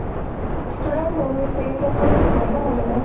student বহুত আছে কিন্তু college নাই ন সেনেকে